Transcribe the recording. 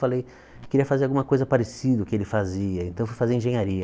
Falei, queria fazer alguma coisa parecida o que ele fazia, então fui fazer engenharia.